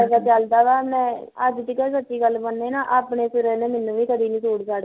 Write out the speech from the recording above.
ਅੱਜ ਤੂੰ ਸੱਚੀ ਗੱਲ ਮੰਨੇ ਨਾ ਆਪਣੇ ਸਿਰੋ ਮੈਨੂੰ ਵੀ ਕਦੇ ਸੂਟ ਸਾਟ